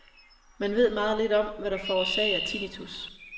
Man ved meget lidt om, hvad der forårsager tinnitus.